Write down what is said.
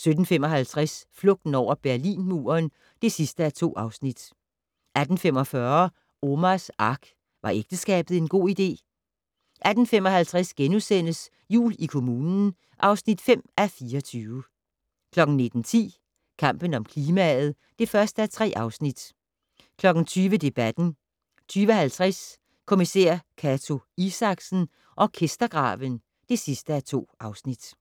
17:55: Flugten over Berlinmuren (2:2) 18:45: Omars Ark - Var ægteskabet en god idé? 18:55: Jul i kommunen (5:24)* 19:10: Kampen om klimaet (1:3) 20:00: Debatten 20:50: Kommissær Cato Isaksen: Orkestergraven (2:2)